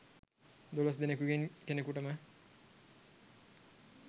දොලොස් දෙනෙකුගෙන් කෙනෙකුටම